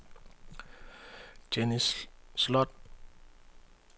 Jenny Sloth